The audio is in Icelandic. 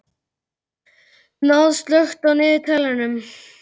Náð, slökktu á niðurteljaranum.